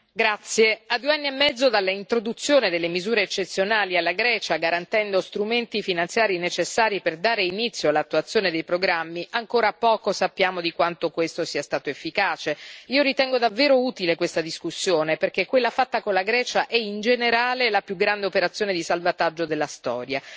Signora Presidente, onorevoli colleghi, a due anni e mezzo dall'introduzione delle misure eccezionali per la Grecia, garantendo strumenti finanziari necessari per dare inizio all'attuazione dei programmi, ancora poco sappiamo di quanto questo sia stato efficace. Io ritengo davvero utile questa discussione, perché quella fatta con la Grecia è in generale la più grande operazione di salvataggio della storia.